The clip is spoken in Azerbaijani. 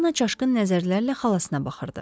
Poliana çaşqın nəzərlərlə xalasına baxırdı.